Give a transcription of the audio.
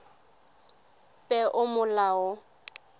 peomolao